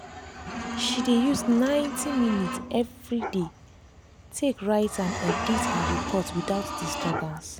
she dey use ninety dey use ninety minutes everyday take write and edit her report without disturbance.